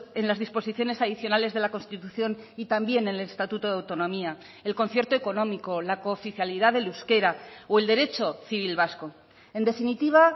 en las disposiciones adicionales de la constitución y también en el estatuto de autonomía el concierto económico la cooficialidad del euskera o el derecho civil vasco en definitiva